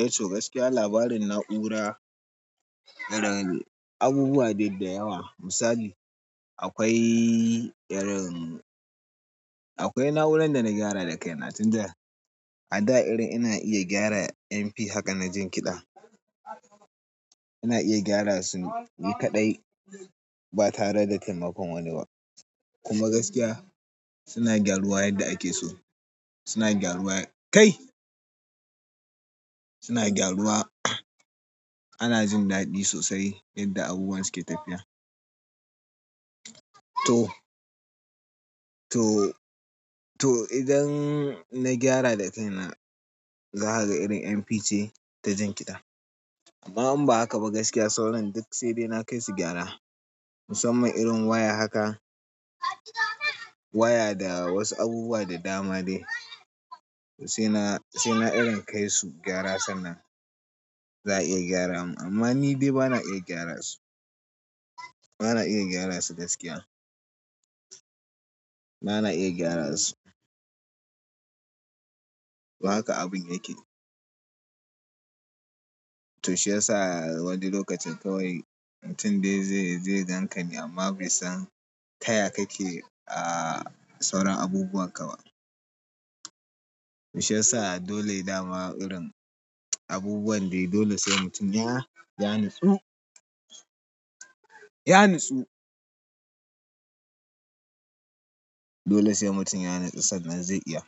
Eh to gaskiya labarin na'ura, abubuwa dai da yawa, misali akwai irin, akwai na'urar da na gyara da kaina. Tun da a da irin ina iya gyara MP haka na jin kiɗa. Ina iya gyara su ni kaɗai ba tare da taimakon wani ba. Kuma gaskiya suna gyaruwa yadda ake so. Suna gyaruwa, kai! Suna gyaruwa. Ana jin daɗi sosai yadda abubuwan suke tafiya. To, to, to idan na gyara da kaina za ka ga irin MP ce ta jin kiɗa. Amma in ba haka ba sauran duk sai na kai su gyara musamman irin waya haka, waya da wasu abubuwa da dama dai to sai na, sai na irin kai su gyara sannan za a iya gyara mun. Amma ni dai ba na iya gyara su. Bana iya gyara su gaskiya. Bana iya gyara su. Haka abun yake. To shi ya sa wani lokacin kawai mutum dai zai, zai ganka ne amma bai san taya kake, sauran abubuwan ka ba. Shi ya sa dole da ma irin abubuwan dai dole sai mutum ya, ya natsu. Ya nutsu. Dole sai mutum ya nutsu sannan zai iya.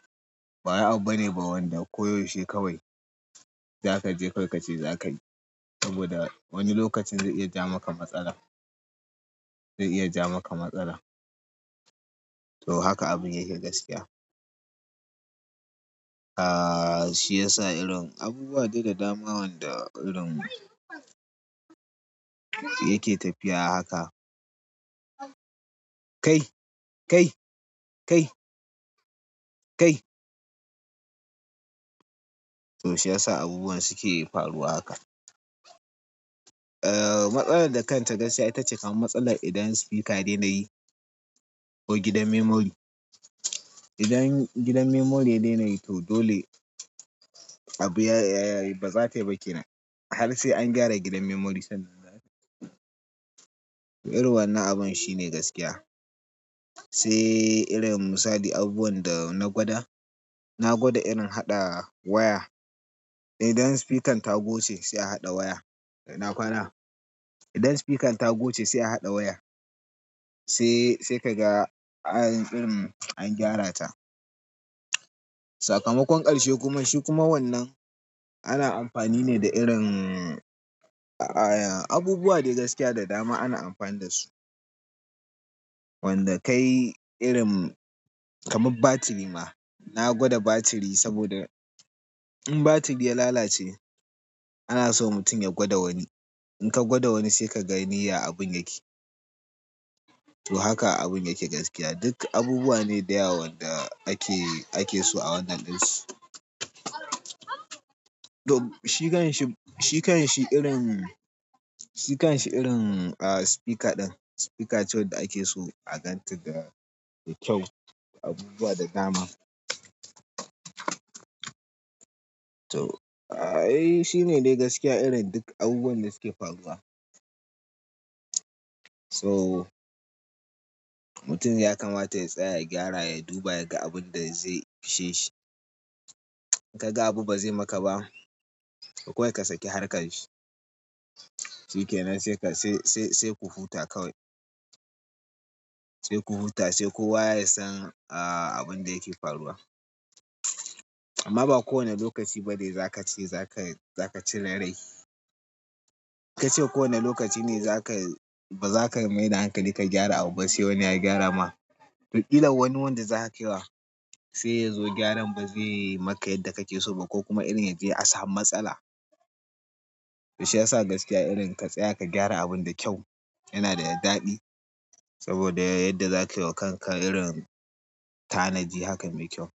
Ba wai abu ba ne wanda ko yaushe kawai za ka je kawai ka ce za ka yi. Saboda wani lokacin zai iya ja maka matsala. Zai iya ja maka matsala. To haka abun yake gaskiya. Shi ya sa irin abubuwa dai da dama wanda irin yake tafiya haka. Kai, kai, kai, kai! To shi ya sa abubuwan suke faruwa haka. Eh matsalar da kanta gaskiya ita ce kan matsalar idan speaker ya dena yi ko gidan memory. Idan gidan memory daina yi to dole abu ya, ba za tayi ba ke nan. Har sai an gyara gidan memory sannan za ka. To irin wane abun shine gaskiya. Sai irin misali abubuwan da na gwada, na gwada irin haɗa waya. Eh idan sifikan ta goce sai a haɗa waya. (ina kwana). Idan sifikan ta goce sai a haɗa waya. Sai, sai ka ga irin an gyara ta. Sakamakon ƙarshe kuma shi kuma wannan ana amfani ne da irin, abubuwa dai gaskiya da dama ana amfani da su. Wanda kai irin kamar batiri ma na gwada batiri saboda in batiri ya lalace ana so mutum ya gwada wani. In ka gwada wani sai ka ga duk ya abun yake. To haka abun yake gaskiya. Duk abubuwa ne da yawa wanda ake, ake so a wannan ɗin su. To shi kan shi, shi kan shi irin, shi kan shi irin, a, sifika ɗin sifika ce wadda ake so a ganta da kyau, abubuwa da dama to ai shi ne dai gaskiya irin duk abubuwan da suke faruwa. To mutum ya kamata ya tsaya, ya gyara, ya duba ya ga abun da zai fishe shi. In ka ga abu ba zai maka ba, to kawai ka saki harkan shi. Shi kenan sai ka, sai, sai, sai ku huta kawai. Sai ku huta sai kowa ya san, a, abun da yake faruwa. Amma ba kowane lokaci ba ne za ka ce za ka, za ka cire rai. Ka ce kowane lokaci ne za ka, ba za ka maida hankali ka gyara abu ba sai wani ya gyara ma. Ƙila wani wanda za ka kai wa sai ya zo gyaran ba zai yi maka yadda kake so ba ko kuma irin yaje a samu matsala. Shi ya sa gaskiya irin ka tsaya ka gyara abun da kyau yana da ya daɗi. Saboda yadda za ka yi wa kanka irin tanaji hakan mai kyau.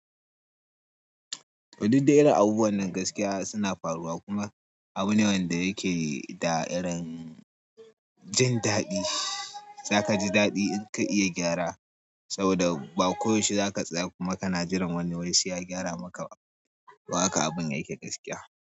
To duk dai irin abubuwan nan gaskiya suna faruwa kuma abu ne wanda yake da irin jin daɗi. Za ka ji daɗi in ka iya gyara saboda ba ko yaushe za ka tsaya kuma ka na jiran wani wai sai ya gyara maka ba. To haka abun yake gaskiya.